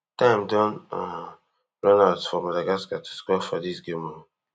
time don um run out for madagascar to score for dis game um